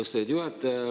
Austatud juhataja!